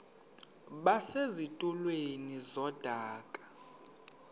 base zitulmeni zedaka